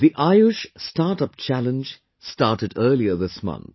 The AYUSH Startup Challenge started earlier this month